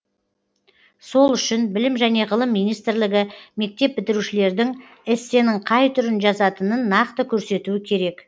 сол үшін білім және ғылым министрлігі мектеп бітірушілердің эссенің қай түрін жазатынын нақты көрсетуі керек